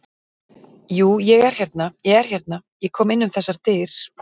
Jú, ég hérna. ég er hérna. ég kom inn um þessar dyr.